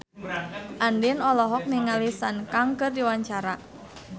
Andien olohok ningali Sun Kang keur diwawancara